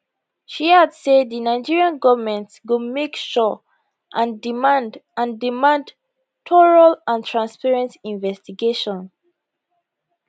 she add say di nigerian goment go make sure and demand and demand thorough and transparent investigation